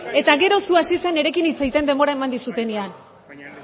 eta gero zu hasi zera nirekin hitz egiten denbora eman dizudanean baina